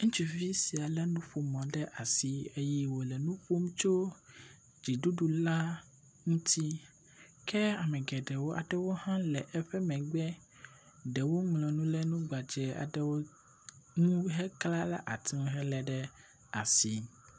Ŋutsuvi sia lé nuƒomɔ ɖe asi eye wòle nu ƒom tso dziɖuɖu la ŋuti. Ke ame geɖewo aɖewo hã le eƒe megbe, ɖewo ŋlɔ nu ɖe nu gbadzɛ aɖewo ŋu hekle ɖe ati ŋu helé aɖe asi.